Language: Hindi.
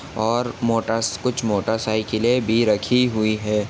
और मोटर्स कुछ मोटर साइकिले भी रखी हुई है।